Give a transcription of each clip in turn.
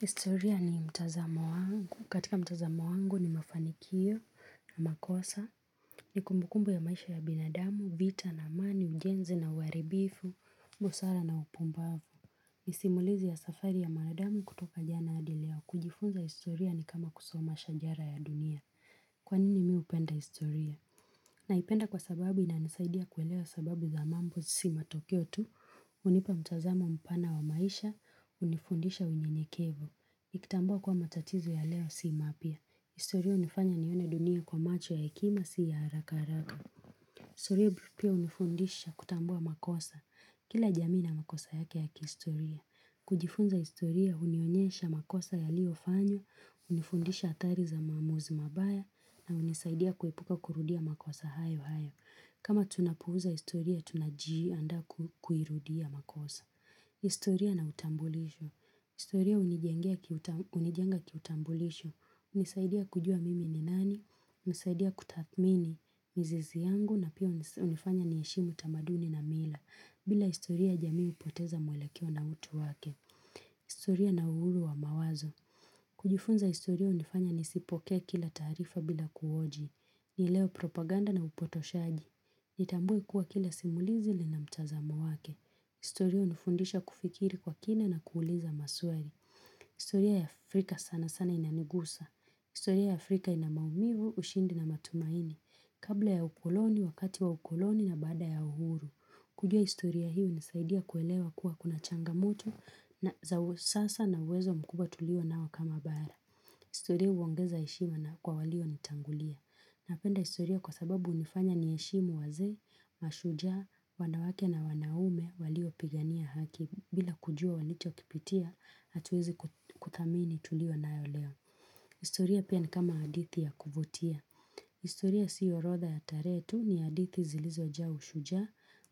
Historia ni mtazamo wangu. Katika mtazamo wangu ni mafanikio na makosa, ni kumbukumbu ya maisha ya binadamu, vita na amani, ujenzi na uharibifu, busara na upumbavu. Nisimulizi ya safari ya mwanadamu kutoka jana adileo kujifunza historia ni kama kusoma shajara ya dunia. Kwanini mihupenda historia? Na ipenda kwa sababu ina nisaidia kuelewa sababu za mambo sima Tokeo tu, hunipa mtazamo mpana wa maisha, unifundisha unyenyekevu. Nikitambua kuwa matatizo ya leo sii mapya. Historia hunifanya nione dunia kwa macho ya hekima si ya haraka haraka. Historia grupia hunifundisha kutambua makosa. Kila jamii ina makosa yake ya kihistoria. Kujifunza historia hunionyesha makosa ya liofanywa, hunifundisha hatari za maamuzi mabaya na hunisaidia kuepuka kurudia makosa hayo hayo. Kama tunapuuza historia tunajii anda kuirudia makosa. Historia na utambulisho. Historia hunijenga kiutambulisho, unisaidia kujua mimi ni nani, hunisaidia kutathmini, mizizi yangu na pia unifanya niheshimu tamaduni na mila, bila historia jamii upoteza mwelekeo na utu wake. Historia na uhuru wa mawazo. Kujifunza historia hunifanya nisipokee kila taarifa bila kuhoji. Nielewe propaganda na upotoshaji. Nitambue kuwa kila simulizi li na mtazamo wake. Historia hunifundisha kufikiri kwa kina na kuuliza masuari. Historia ya Afrika sana sana inanigusa. Historia ya Afrika ina maumivu, ushindi na matumaini. Kabla ya ukuloni, wakati wa ukuloni na baada ya uhuru. Kujua historia hii hunisaidia kuelewa kuwa kuna changamoto na za usasa na uwezo mkubwa tulio nao kama bara. Historia huongeza heshima na kwa walio nitangulia. Napenda historia kwa sababu hunifanya niheshimu wazee, mashujaa, wanawake na wanaume walio pigania haki bila kujua walicho kipitia, hatuwezi kuthamini tulio nayo leo. Historia pia ni kama hadithi ya kuvutia. Historia siorotha ya tarehe ni hadithi zilizo jaa ushujaa,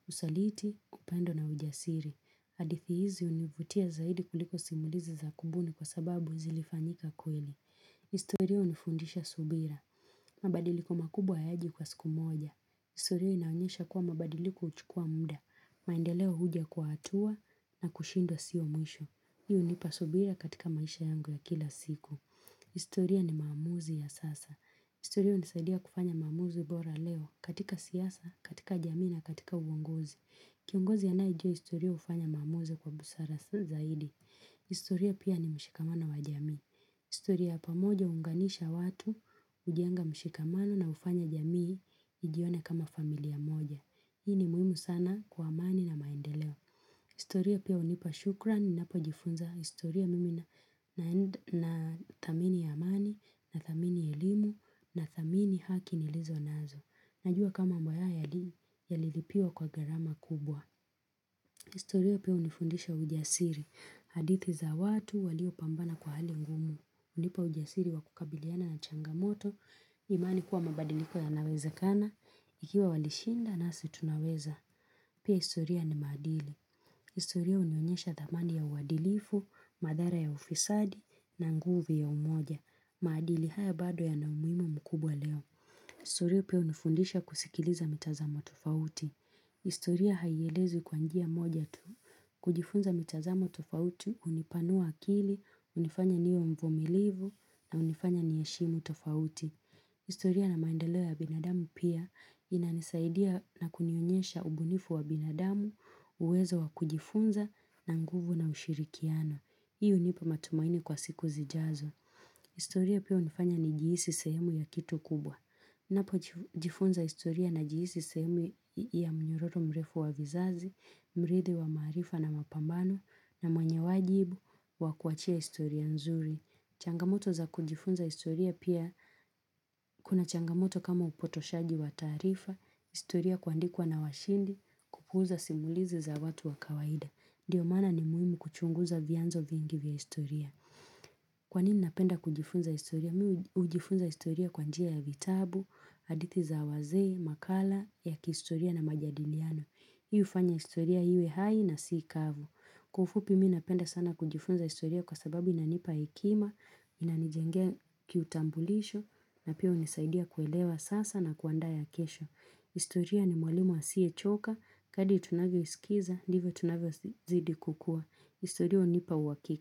usaliti, upendo na ujasiri. Hadithi hizi univutia zaidi kuliko simulizi za kubuni kwa sababu zilifanyika kweli. Historia unifundisha subira. Mabadiliko makubwa hayaji kwa siku moja. Istoria inaunyesha kwa mabadiliko huchukua muda. Maendeleo huja kwa hatua na kushindwa siomwisho. Hii hunipasubira katika maisha yangu ya kila siku. Historia ni maamuzi ya sasa. Historia hunisadia kufanya maamuzi bora leo katika siasa, katika jamii na katika uongozi. Kiongozi anayejua historia hufanya maamuzi kwa busara zaidi. Historia pia ni mshikamano wa jamii. Historia ya pamoja huunganisha watu hujenga mshikamano na hufanya jamii ijione kama familia moja. Hii ni muhimu sana kwa amani na maendeleo. Historia pia hunipa shukran, ninapo jifunza historia mimi na thamini ya amani, na thamini ya elimu, na thamini haki nilizo nazo. Najua kama mboya ya lilipiwa kwa garama kubwa. Historia pia unifundisha ujasiri, hadithi za watu walio pambana kwa hali ngumu. Hunipa ujasiri wa kukabiliana na changamoto, imani kuwa mabadiliko ya naweza kana, ikiwa walishinda nasi tunaweza. Pia historia ni maadili. Historia hunionyesha dhamani ya uwadilifu, madhara ya ufisadi, na nguvu ya umoja. Maadili haya bado ya na umuhimu mkubwa leo. Historia pia hunifundisha kusikiliza mitazamo tufauti. Historia haielezwi kwanjia moja tu. Kujifunza mitazamo tofauti, hunipanua akili, hunifanya niwe mvumilivu na unifanya niheshimu tofauti. Historia na maendeleo ya binadamu pia inanisaidia na kunionyesha ubunifu wa binadamu, uwezo wa kujifunza na nguvu na ushirikiano. Hii hunipa matumaini kwa siku zijazo. Historia pia hunifanya ni jihisi sehemu ya kitu kubwa. niNapo jifunza historia na jihisi sehemu ya mnyororo mrefu wa vizazi, mrithi wa maarifa na mapambano na mwenyewajibu wa kuachia historia nzuri. Changamoto za kujifunza historia pia kuna changamoto kama upotoshaji wa taarifa, historia kuandikwa na washindi, kupuuza simulizi za watu wa kawaida. Ndiyo maana ni muhimu kuchunguza vianzo vingi vya historia. Kwa nini napenda kujifunza historia? Mi hujifunza historia kwa njia ya vitabu, hadithi za wazee, makala, ya kistoria na majadiliano. Hii ufanya historia iwe hai na sii kavu. Kwa ufupi mi napenda sana kujifunza historia kwa sababu inanipa hekima, inanijengea kiutambulisho, na pia hunisaidia kuelewa sasa na kuanda ya kesho. Historia ni mwalimu asiye choka, kadri tunavyo isikiza, ndivyo tunavyo zidi kukua. Historia hunipa uhakiki.